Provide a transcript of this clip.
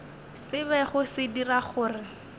se bego se dira gore